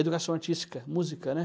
Educação artística, música, né?